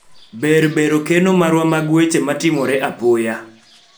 ber bero keno marwa mag weche matimore apoya